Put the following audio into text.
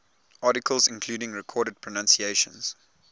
articles including recorded pronunciations